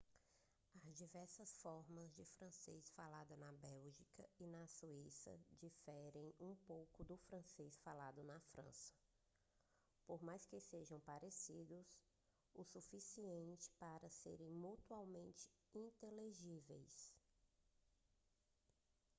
as diversas formas de francês faladas na bélgica e na suíça diferem um pouco do francês falado na frança por mais que sejam parecidos o suficiente para serem mutuamente inteligíveis